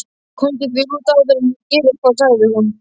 Komdu þér út áður en ég geri eitthvað sagði hún.